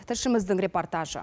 тілшіміздің репортажы